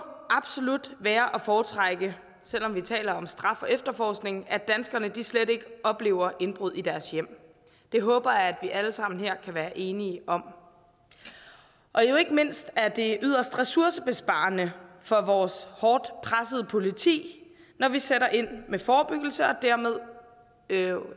absolut være at foretrække selv om vi taler om straf og efterforskning at danskerne slet ikke oplever indbrud i deres hjem det håber jeg at vi alle sammen her kan være enige om ikke mindst er det jo yderst ressourcebesparende for vores hårdt pressede politi når vi sætter ind med forebyggelse og dermed